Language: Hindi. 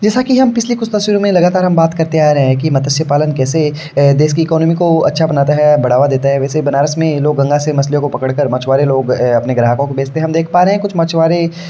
जैसा की हम कुछ तस्वीरों में हम लगातार बात करते आ रहे है की मत्स्य पालन कैसे देख की इकॉनमी को अच्छा बनता है बढ़ावा देता है वैसे ही बनारस में ये लोग गंगा से मछलियों को पकड़ कर मछुआरे लोग अपने ग्राहकों को बेचते है हम देख पा रहे है कुछ मछुआरे --